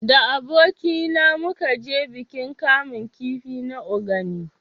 Da aboki na mu ka je bikin kamun kifi na Ogani